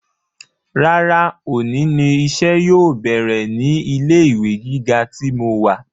Rárá òní ni iṣẹ́ yóò bẹ̀rẹ̀ ní ilé ìwé gíga tí mo wà